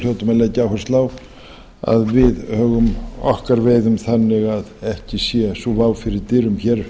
hljótum að leggja áherslu að við högum okkar veiðum þannig að ekki sé sú vá fyrir dyrum hér